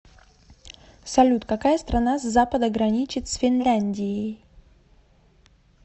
салют какая страна с запада граничит с финляндией